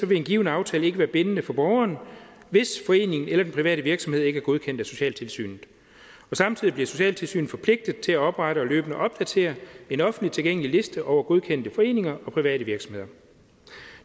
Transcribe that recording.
vil en given aftale ikke være bindende for borgeren hvis foreningen eller den private virksomhed ikke er godkendt af socialtilsynet samtidig bliver socialtilsynet forpligtet til at oprette og løbende opdatere en offentlig tilgængelig liste over godkendte foreninger og private virksomheder